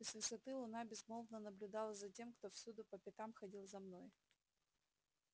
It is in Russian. и с высоты луна безмолвно наблюдала за тем кто всюду по пятам ходил за мной